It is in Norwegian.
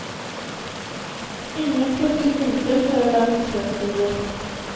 Ingen plukker nyper for å lage kløpulver.